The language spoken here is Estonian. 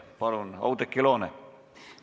Palun, Oudekki Loone!